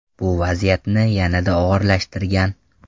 Bu vaziyatni yanada og‘irlashtirgan.